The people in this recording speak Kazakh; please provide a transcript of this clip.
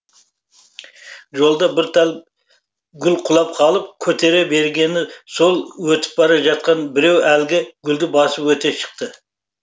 жолда бір тал гүлі құлап қалып көтере бергені сол өтіп бара жатқан біреу әлгі гүлді басып өте шықты